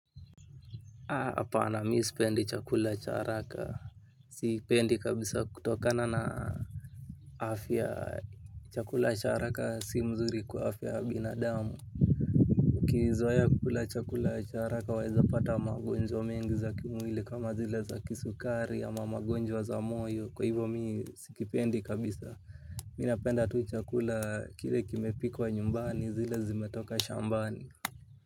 Hapana mi sipendi chakula cha haraka. Sipendi kabisa kutokana na afya chakula cha haraka si mzuri kwa afya ya binadamu. Kuzoea kukula chakula cha haraka waweza kupata magonjwa mengi za kimwili kama zile za kisukari ama magonjwa za moyo kwa hivyo mi sikipendi kabisa. Mi napenda tu chakula kile kimepikwa nyumbani zile zimetoka shambani.